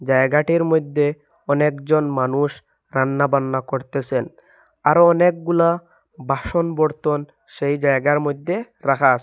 জায়গাটির মইধ্যে অনেক জন মানুষ রান্নাবান্না করতেসেন আরও অনেকগুলা বাসন বর্তন সেই জায়গার মইধ্যে রাখা আসে।